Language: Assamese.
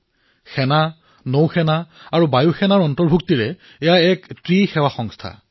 এয়া এক ত্ৰিসেৱা সংস্থা যত সেনা নৌসেনা বায়ুসেনা তিনিওটাই অন্তৰ্ভুক্ত আছে